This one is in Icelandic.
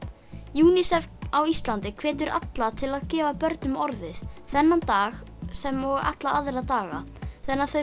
UNICEF á Íslandi hvetur alla til að gefa börnum orðið þennan dag sem og alla aðra daga þannig að þau